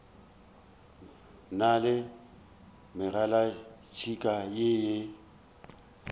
na le megalatšhika ye e